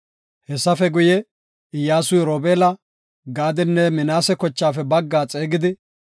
Hessafe guye, Iyyasuy Robeela, Gaadenne Minaase kochaafe baggaa xeegidi,